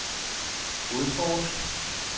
udforsk